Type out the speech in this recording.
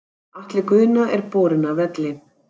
Atli Guðna er borinn af velli.